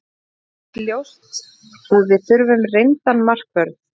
Það er samt ljóst að við þurfum reyndan markvörð.